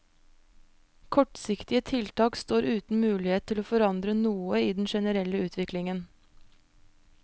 Kortsiktige tiltak står uten mulighet til å forandre noe i den generelle utviklingen.